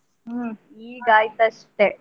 ಹ್ಮ್ ಈಗ ಆಯ್ತ್ ಅಷ್ಟೇ.